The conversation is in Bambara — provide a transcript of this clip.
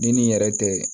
Ni nin yɛrɛ tɛ